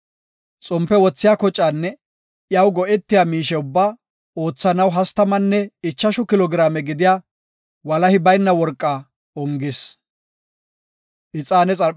Xompe wothiya kocaanne iyaw go7etiya miishe ubbaa oothanaw hastamanne ichashu kilo giraame gidiya, walahi bayna worqa ongis.